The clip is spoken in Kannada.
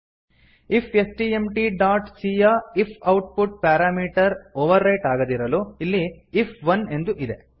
ಇಫ್ಸ್ಟ್ಮ್ಟ್ ಡಾಟ್ c ಯ IF output parameter overwrite ಆಗದಿರಲು ಇಲ್ಲಿ ಐಎಫ್1 ಎಂದು ಇದೆ